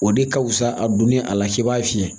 O de ka fusa a donni a la k'i b'a fiyɛ